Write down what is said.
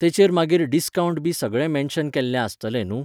तेचेर मागीर डिस्कावंटबी सगळे मेन्शन केल्लें आसतलें न्हू?